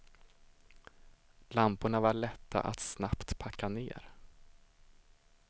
Lamporna var lätta att snabbt packa ner.